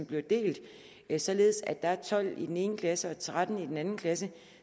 bliver delt således at der er tolv elever i den ene klasse og tretten i den anden klasse